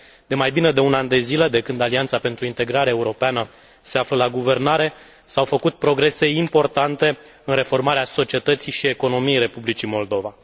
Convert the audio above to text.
De mai bine de un an de zile de când Alianța pentru Integrare Europeană se află la guvernare, s au făcut progrese importante în reformarea societății și economiei Republicii Moldova.